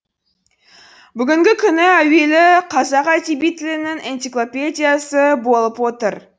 бүгінгі күні әуелі қазақ әдеби тілінің энциклопедиясы болып отыр